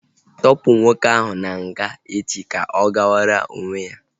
Tọpu nwoke ahụ na nga echi ka ọ gawara onwe ya!